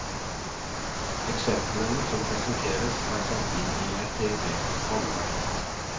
Eksemplene som presenteres er satt inn i et teoretisk rammeverk.